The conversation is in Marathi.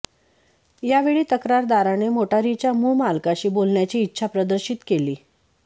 या वेळी तक्रारदाराने मोटारीच्या मूळ मालकाशी बोलण्याची इच्छा प्रदर्शित केली